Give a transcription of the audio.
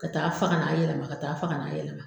Ka taa fa ka n'a yɛlɛma ka taa fa ka n'a yɛlɛma.